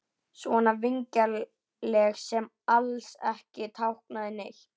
Svona vingjarnleg sem alls ekki táknaði neitt.